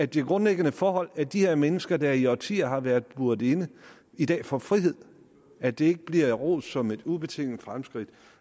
de grundlæggende forhold er at de her mennesker der i årtier har været buret inde i dag får frihed at det ikke bliver rost som et ubetinget fremskridt